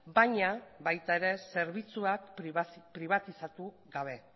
baina baita ere zerbitzuak pribatizatu gabe